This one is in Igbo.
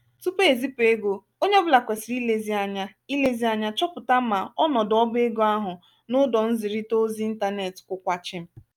tupu ezipụ ego onye ọbụla kwesịrị ilezi anya ilezi anya chọpụta ma ọnọdụ ọbá ego ahụ n'ụdọ nzirita ozi ịntanetị kwụkwa chịm.